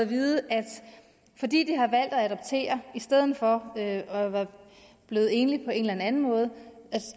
vide at fordi de har valgt at adoptere i stedet for at være blevet enlige forsørgere på en anden måde